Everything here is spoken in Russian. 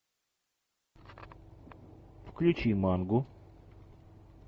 включи мангу